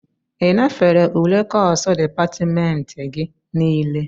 Ị nafere ule kọsu dịpatmentị gị nile?